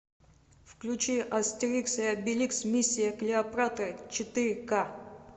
включи астерикс и обеликс миссия клеопатры четыре ка